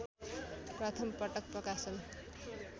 प्रथम पटक प्रकाशन